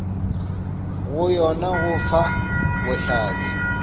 ga yona go fa bohlatse